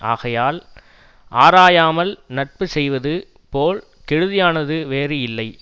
ஆகையால் ஆராயாமல் நட்பு செய்வது போல் கெடுதியானது வேறு இல்லை